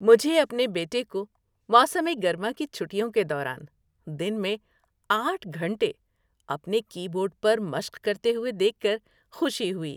مجھے اپنے بیٹے کو موسم گرما کی چھٹیوں کے دوران دن میں آٹھ گھنٹے اپنے کی بورڈ پر مشق کرتے ہوئے دیکھ کر خوشی ہوئی۔